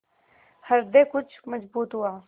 हृदय कुछ मजबूत हुआ